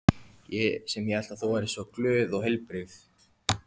Ég sem hélt að þú væri svo glöð og heilbrigð.